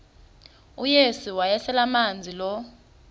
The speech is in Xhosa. uyesu wayeselemazi lo